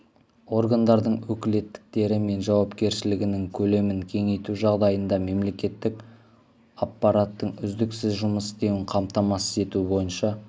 органдардың өкілеттіктері мен жауапкершілігінің көлемін кеңейту жағдайында мемлекеттік аппараттың үздіксіз жұмыс істеуін қамтамасыз ету бойынша